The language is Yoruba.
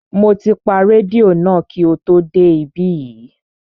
Mo ti pa rédíò náà kí o tó dé ibí yìí